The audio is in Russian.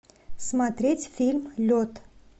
смотреть фильм лед